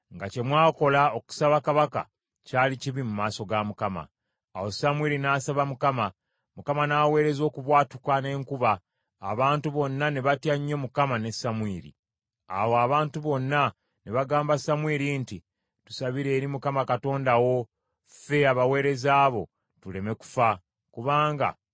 Awo abantu bonna ne bagamba Samwiri nti, “Tusabire eri Mukama Katonda wo, ffe abaweereza bo, tuleme kufa, kubanga twongedde ku bibi byaffe ebirala byonna, bwe twasabye kabaka.”